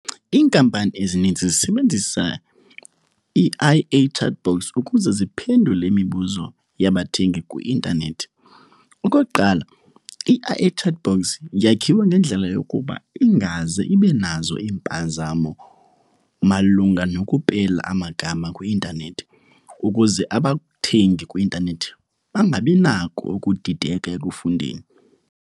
Iinkampani ezininzi zisebenzisa ii-A_I chatbots ukuze ziphendule imibuzo yabathengi kwi-inthanethi. Okokuqala i-A_I chatbot yakhiwe ngendlela yokuba ingaze ibe nazo iipazamo malunga nokupela amagama kwi-intanethi ukuze abathengi kwi-intanethi bangabinako ukudideka ekufundeni.